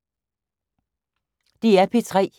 DR P3